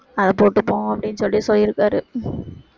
அதை போட்டுப்போம் அப்படின்னு சொல்லி சொல்லியிருக்காரு